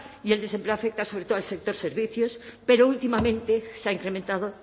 y el desempleo afecta sobre todo al sector servicios pero últimamente se ha incrementado